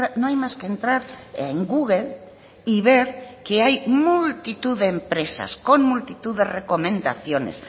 no hay más que entrar en google y ver que hay multitud de empresas con multitud de recomendaciones